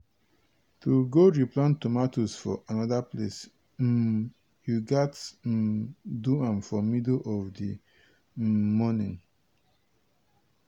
to go replant tomatoes for anoda place um you gats um do am for middle of di um morning.